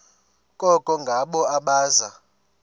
koko ngabo abaza